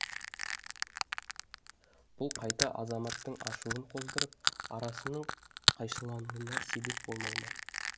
бұл қайта азаматтың ашуын қоздырып арасының қайшылануына себеп болмай ма